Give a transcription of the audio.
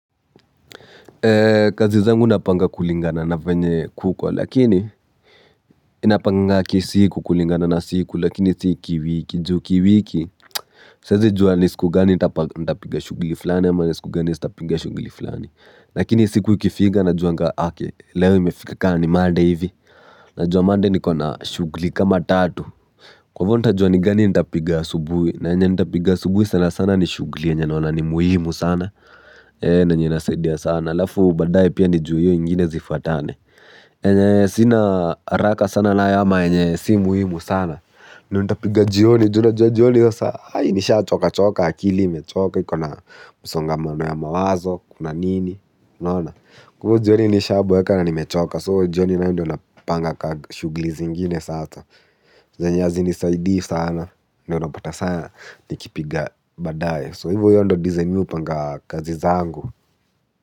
Kazi zangu napanga kulingana na venye kuko lakini ninapanga kisiku kulingana na siku lakini si kiwiki juu kiwiki. Siezi juwa ni siku gani nitapiga shughli flani ama ni siku gani sitapiga shughli flani. Lakini siku ikifika najuanga ake leo imefika kama ni monday hivi. Najua monday niko na shugli kama tatu. Kwa ivo ntajua ni gani ntapiga asubuhi na yenye ntapiga asubuhi sana sana ni shughli yenye naona ni muhimu sana na yenye inasaidia sana. Halafu baadaye pia ni juu hiyo ingine zifuatane. Yenye sina haraka sana nayo ama yenye si muhimu sana, ndio nitapiga jioni. Juu unajua jioni sasa nishachokachoka, akili imechoka ikona msongamano ya mawazo, kuna nini. Kwa hiyo jioni nishaboeka na nimechoka so jioni nayo ndio napanganga shughuli zingine sasa. Zenye hazinisaidii sana ndio unapata saa nikipiga baadaye so hivo hiyo ndio design mi hupanga kazi zangu.